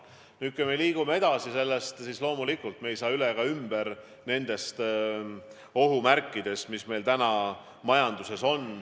Nüüd, kui me liigume edasi, siis loomulikult me ei saa üle ega ümber ohumärkidest, mis meil täna majanduses on.